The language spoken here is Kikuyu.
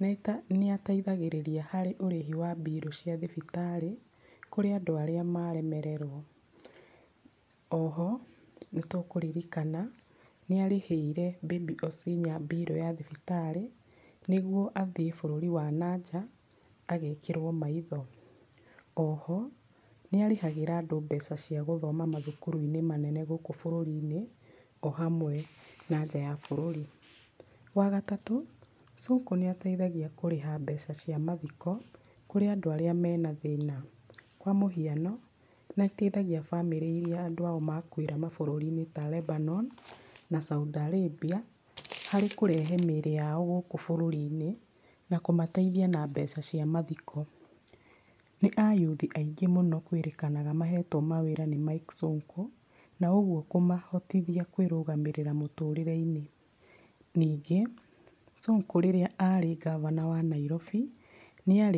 nĩ ateithagĩrĩria harĩ ũrĩhi wa birũ cia thibitarĩ kũrĩ andũ arĩa maremererwo. Oho, nĩ tũkũririkana nĩ arĩhĩire Baby Osinya birũ ya thibitarĩ nĩguo athiĩ bũrũri wa na nja agekĩrwo maitho. Oho nĩ arĩhagĩra andũ mbeca cia gũthoma mathukuru-inĩ manene gũkũ bũrũri-inĩ, o hamwe na nja ya bũrũri. Wa gatatũ, Sonko nĩ ateithagia kũrĩha mbeca cia mathiko kũrĩ andũ arĩa mena thĩna. Kwa mũhiano nĩ ateithagia bamĩrĩ irĩa andũ ao makuĩra ta Lebanon na Saudi Arabia na kũrehe mĩĩrĩ yao gũkũ bũrũri-inĩ, na kũmateithia na mbeca cia mathiko. Nĩ a youth aingĩ mũno kwĩrĩkanaga mahetwo mawĩra nĩ Mike Sonko, na ũguo kũmahotithia kwĩrũgamĩrĩra mũtũrĩre-inĩ. Ningĩ, Sonko rĩrĩa arĩ gavana wa Nairobi, nĩ arĩ mwega mũno.